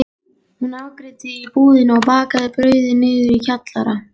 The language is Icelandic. Hún afgreiddi í búðinni og bakaði brauðin niðri í kjallara.